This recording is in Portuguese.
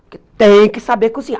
Porque tem que saber cozinhar.